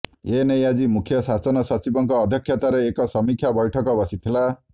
ଏନେଇ ଆଜି ମୁଖ୍ୟ ଶାସନ ସଚିବଙ୍କ ଅଧ୍ୟକ୍ଷତାରେ ଏକ ସମୀକ୍ଷା ବୈଠକ ବସିଥିଲା